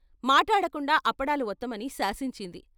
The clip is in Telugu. మాటాడకుండా అప్పడాలు వత్తమని శాసించింది.